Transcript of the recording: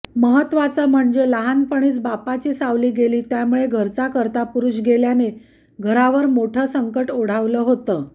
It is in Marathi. महत्वाचं म्हणजे लहानपणीच बापाची सावली गेली त्यामुळे घरचा कर्तापुरूष गेल्याने घरावर मोठं संकट ओढवलं होतं